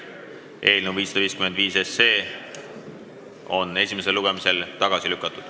Eelnõu 555 on esimesel lugemisel tagasi lükatud.